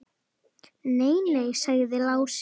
Nei, nei, sagði Lási.